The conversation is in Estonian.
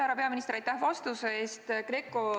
Härra peaminister, aitäh vastuse eest!